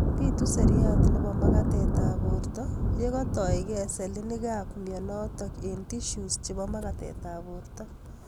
Bitu seriat nebo magatetab borto yekatoige selinikab mionotok eng' tissues chebo magatetab borto